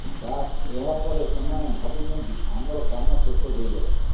ବାସ୍ ଏହା ପରେ ସେମାନେ ଭାବୁଛନ୍ତି ଆମର କାମ ଶେଷ ହୋଇଗଲା